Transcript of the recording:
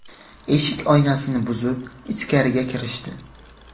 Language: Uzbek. Eshik oynasini buzib, ichkariga kirishdi.